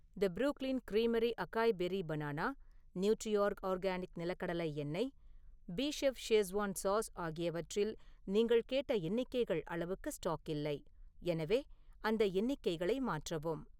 தி Brooklyn creamery acai berry banana, Nutriorg organic நிலக்கடலை எண்ணெய், Beechef Schezwan sauce ஆகியவற்றில் நீங்கள் கேட்ட எண்ணிக்கைகள் அளவுக்கு ஸ்டாக் இல்லை, எனவே அந்த எண்ணிக்கைகளை மாற்றவும்